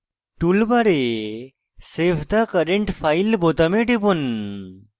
toolbar save the current file বোতামে টিপুন